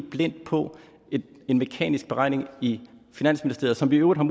på en mekanisk beregning i finansministeriet som vi i øvrigt har